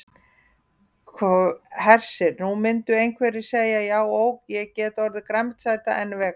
Hersir: Nú myndu einhverjir segja já ok, ég get orðið grænmetisæta en vegan?